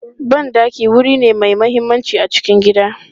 Ban ɗaki wuri ne mai mahimmanci a cikin gida.